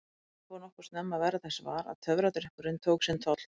Ég fór nokkuð snemma að verða þess var að töfradrykkurinn tók sinn toll.